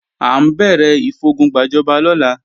À ń bẹ̀rẹ̀ ìfogun gbàjọba lọ́la